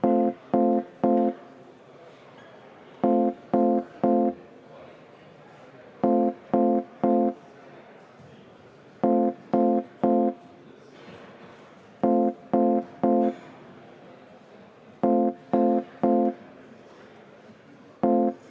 Eelnõu 118 esimese lugemise tagasilükkamise poolt oli 50 Riigikogu liiget, vastu 46.